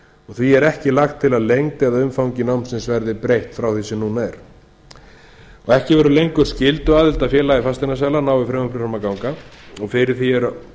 því er ekki lagt til að lengd eða umfangi námsins verði breytt frá því sem núna er ekki verður lengur skylduaðild að félagi fasteignasala nái frumvarpið fram að ganga fyrir því eru